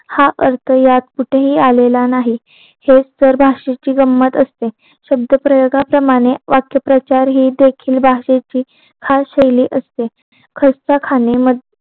हा अर्थ यात कुठे हि आलेला नाही हे सर्वाशीची गंमत असते शब्द प्रयोगा प्रमाणे वाक्य प्रचारे हि देखील भाषेची हा शैली असते खस्ता खाणे मध्ये